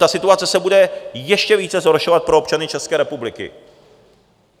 Ta situace se bude ještě více zhoršovat pro občany České republiky.